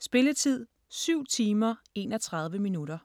Spilletid: 7 timer, 31 minutter.